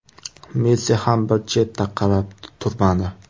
Messi ham bir chetda qarab turmadi.